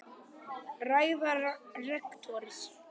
Ræða rektors